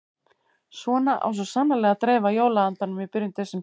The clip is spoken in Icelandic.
Svona á svo sannarlega að dreifa jóla-andanum í byrjun desember.